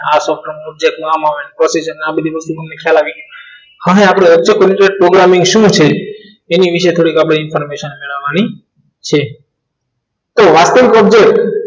આ software નામ આવે procedure ને બધી વસ્તુ તમને ખ્યાલ આવી ગયું. હવે આપણે object programming શું છે એની વિશે થોડી information મેળવવાની છે તો object